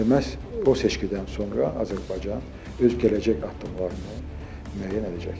Və məhz o seçkidən sonra Azərbaycan öz gələcək addımlarını müəyyən edəcəkdir.